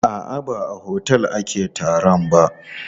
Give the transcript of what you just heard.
A'a, ba a otel ake taron ba.